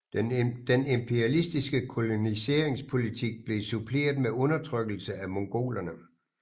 Den imperialistiske koloniseringspolitik blev suppleret med undertrykkelse af mongolerne